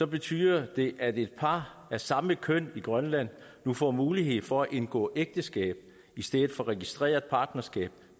betyder det at et par af samme køn i grønland nu får mulighed for at indgå ægteskab i stedet for registreret partnerskab